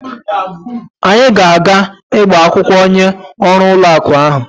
Anyi ga aga igba akwukwo onye oru ulo aku ahu